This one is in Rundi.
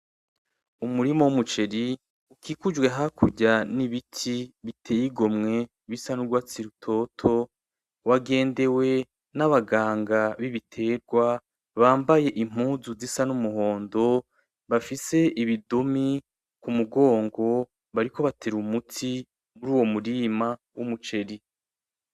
Umurima w'umuceri ukikujwe hakurya n'ibiti biteye igomwe bisa n'urwatsi rutoto wagendewe n'abaganga b'ibitegwa bambaye impuzu zisa n'umuhondo bafise ibidumi kumugongo bariko batera umuti muruwo murima w'umuceri.